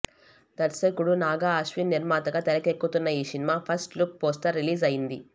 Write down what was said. దర్శకుడు నాగ అశ్విన్ నిర్మాతగా తెరకెక్కుతున్న ఈ cinema first look poster release అయ్యింది